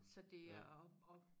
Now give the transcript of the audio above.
Så det er og og